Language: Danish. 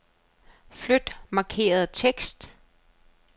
Flyt markerede tekst.